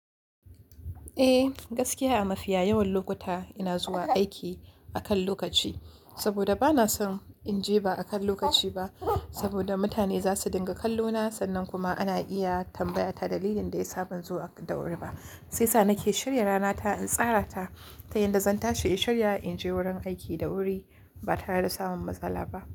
Eh gaskiya a mafiya yawan lokuta ina zuwa aiki akan lokaci, saboda bana son in je ba akan lokaci ba saboda mutane za su dinga kallo na sannan kuma ana iya tambaya ta dalilin da yasa ban zo da wuri ba. Sai sa nake shirya rana ta in tsara ta ta yanda zan tashi in shirya in je wurin aiki da wuri ba tare da samun matsala ba.